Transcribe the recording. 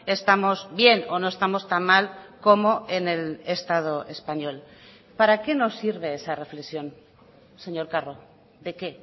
estamos bien o no estamos tan mal como en el estado español para qué nos sirve esa reflexión señor carro de qué